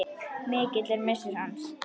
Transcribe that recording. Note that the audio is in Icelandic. Mikill er missir hans.